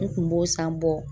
N kun b'o san bɔ